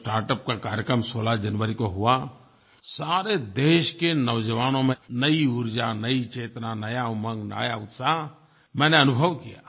जब स्टार्टअप का कार्यक्रम 16 जनवरी को हुआ सारे देश के नौजवानों में नयी ऊर्जा नयी चेतना नया उमंग नया उत्साह मैंने अनुभव किया